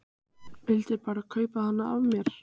Vildi bara kaupa hana af mér!